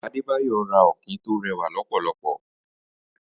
Adebayo rà ọ̀kín tó rẹwá lọpọlọpọ